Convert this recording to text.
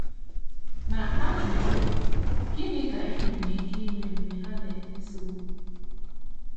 Ma, ajụjụ bụ, Gịnị ka i nwere ike ime mgbe ha na - ese okwu?